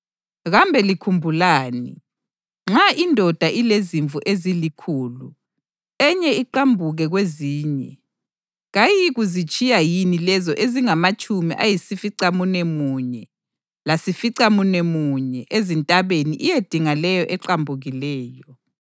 Kambe likhumbulani? Nxa indoda ilezimvu ezilikhulu, enye iqambuke kwezinye, kayiyikuzitshiya yini lezo ezingamatshumi ayisificamunwemunye lasificamunwemunye ezintabeni iyedinga leyo eqambukileyo?